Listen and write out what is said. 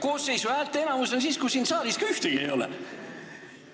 Koosseisu häälteenamus on siis, kui siin saalis ka ühtegi ei ole.